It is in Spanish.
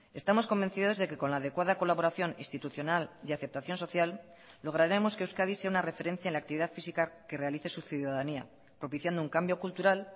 estamos convencidos de que con la adecuada colaboración institucional y aceptación social lograremos que euskadi sea una referencia en la actividad física que realice su ciudadanía propiciando un cambio cultural